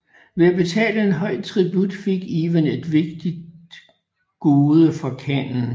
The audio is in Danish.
Ved at betale en høj tribut fik Ivan et vigtigt gode fra khanen